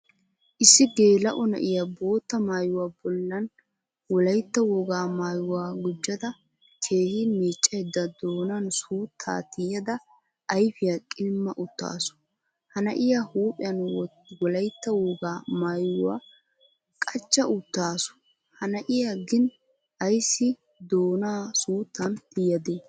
Issi gelao na'iyaa bootta maayuwaa bollan wolaytta wogaa maayuwaa gujjada keehin miccaydda doonan suutta tiyada ayfiya qilima uttasu. Ha na'iya huuphphiyan wolaytta wogaa maayuwaa qachcha uttasu Ha na'iya gin ayssi doonaa suuttan tiyade?